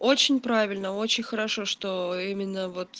очень правильно очень хорошо что именно вот